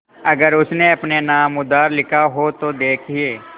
अगर उसने अपने नाम उधार लिखा हो तो देखिए